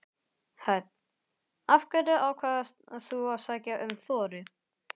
Hödd: Af hverju ákvaðst þú að sækja um Þorri?